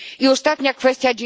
Ostatnia kwestia.